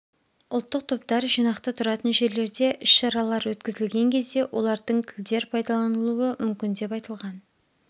ұлттық топтар жинақты тұратын жерлерде іс-шаралар өткізілген кезде олардың тілдер пайдаланылуы мүмкін деп айтылған